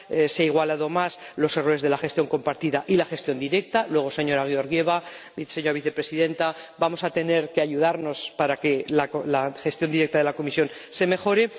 se han igualado más los errores de la gestión compartida y de la gestión directa —luego, señora Georgieva, señora Vicepresidenta, vamos a tener que ayudarnos para que la gestión directa de la Comisión mejore—